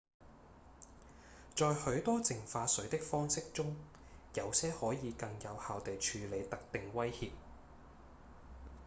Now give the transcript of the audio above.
在許多淨化水的方式中有些可以更有效地處理特定威脅